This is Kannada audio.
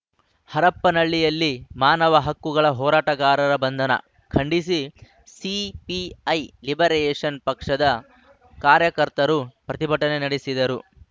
ಹರಪನಹಳ್ಳಿಯಲ್ಲಿ ಮಾನವ ಹಕ್ಕುಗಳ ಹೋರಾಟಗಾರರ ಬಂಧನ ಖಂಡಿಸಿ ಸಿಪಿಐ ಲಿಬರೇಷನ್‌ ಪಕ್ಷದ ಕಾರ್ಯಕರ್ತರು ಪ್ರತಿಭಟನೆ ನಡೆಸಿದರು